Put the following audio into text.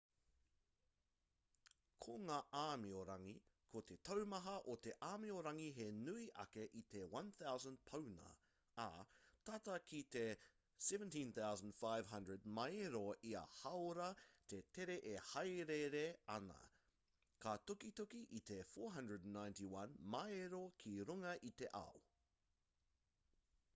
ko ngā āmiorangi ko te taumaha o ia āmiorangi he nui ake i te 1,000 pauna ā tata ki te 17,500 māero ia hāora te tere e hāereere ana ka tukituki i te 491 māero ki runga i te ao